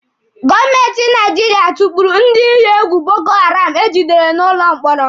Gọọmenti Naijiria tukpuru ndị iyi egwu Boko Haram egidere n'ụlọ mkpọrọ